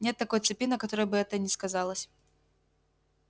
нет такой цепи на которой бы это не сказалось